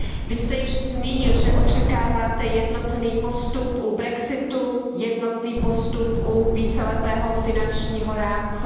Vy jste již zmínil, že očekáváte jednotný postup u brexitu, jednotný postup u víceletého finančního rámce.